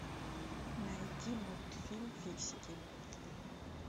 найти мультфильм фиксики